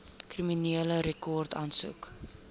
kriminele rekord aansoek